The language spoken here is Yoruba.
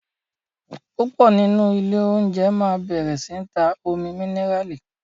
púpọ nínú Ilé oúnjẹ má bẹrẹ sí tá Omi míníràlì.